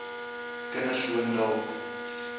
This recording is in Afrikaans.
kinders woon dalk